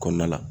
Kɔnɔna la